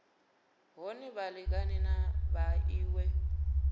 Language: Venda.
hone vha lingane na vhaṅwe